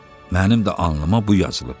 Mənim də alnıma bu yazılıb.